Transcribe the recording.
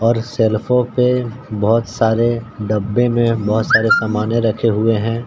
और शेल्फों पे बहोत सारे डब्बे में बहोत सारे सामने रखे हुए हैं।